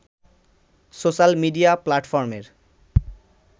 social media প্লাটফর্মের